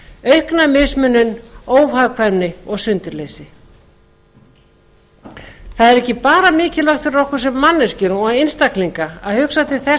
aukna mismunun óhagkvæmni og sundurleysi það er ekki bara mikilvægt fyrir okkar sem manneskjur og einstaklinga að hugsa til þess